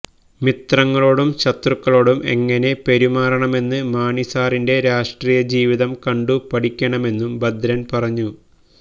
മിത്രങ്ങളോടും ശത്രുക്കളോടും എങ്ങനെ പെരുമാറണമെന്ന് മാണി സാറിന്റെ രാഷ്ട്രീയ ജീവിതം കണ്ടു പഠിക്കണമെന്നും ഭഭ്രന് പറഞ്ഞു